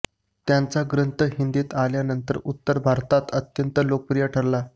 त्यांचा ग्रंथ हिंदीत आल्यानंतर उत्तर भारतात अत्यंत लोकप्रिय ठरला